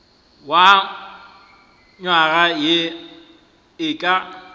wa nywaga ye e ka